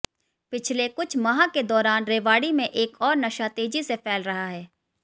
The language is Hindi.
पिछले कुछ माह के दौरान रेवाड़ी में एक ओर नशा तेजी से फैल रहा है